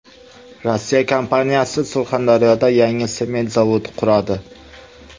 Rossiya kompaniyasi Surxondaryoda yangi sement zavodi quradi.